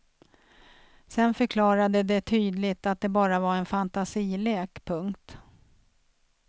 Sen förklarade de tydligt att det bara var en fantasilek. punkt